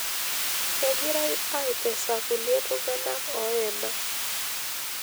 Kegirai aitesa kulie tunganak ooyena.